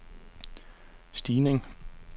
stigning